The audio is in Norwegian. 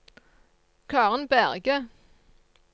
Karen Berge